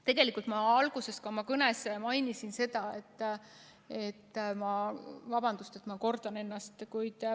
Tegelikult ma alguses ka oma kõnes mainisin – vabandust, et ma kordan ennast!